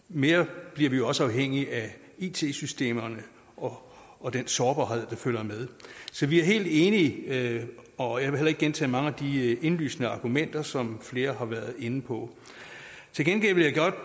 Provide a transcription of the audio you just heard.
mere bliver vi jo også afhængige af it systemerne og og den sårbarhed der følger med så vi er helt enige og jeg vil heller ikke gentage mange af de indlysende argumenter som flere har været inde på til gengæld vil jeg